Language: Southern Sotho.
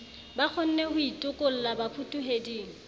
ba kgonne ho itokolla bafutuheding